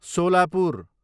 Solapur